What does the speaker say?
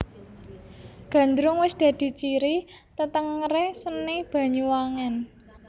Gandrung wis dadi ciri tetengeré seni Banyuwangen